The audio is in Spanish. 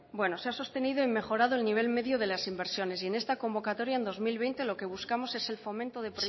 bueno se ha sostenido y mejorado el nivel medio de las inversiones y en esta convocatoria en dos mil veinte lo que buscamos es el fomento de